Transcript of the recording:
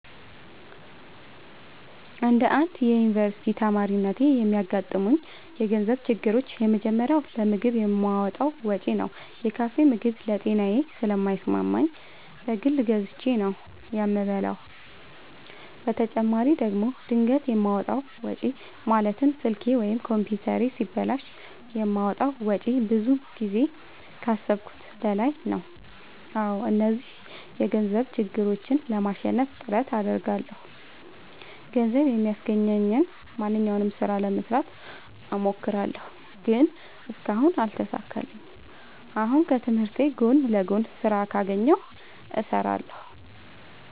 እንደ አንድ ዮኒቨርስቲ ተማሪነቴ የሚያጋጥሙኝ የገንዘብ ችግሮች የመጀመሪያው ለምግብ የማወጣው ወጪ ነው። የካፌ ምግብ ለጤናዬ ስለማይስማማኝ በግል ገዝቼ ነው የምበላው በተጨማሪ ደግሞ ድንገት የማወጣው ወጪ ማለትም ስልኬ ወይም ኮምፒውተሬ ሲበላሽ የማወጣው ወጪ ብዙ ጊዜ ከአሠብኩት በላይ ነው። አዎ እነዚህን የገንዘብ ችግሮች ለማሸነፍ ጥረት አደርጋለሁ። ገንዘብ የሚያስገኘኝን ማንኛውንም ስራ ለመስራት እሞክራለሁ። ግን እስካሁን አልተሳካልኝም። አሁንም ከትምህርቴ ጎን ለጎን ስራ ካገኘሁ እሠራለሁ።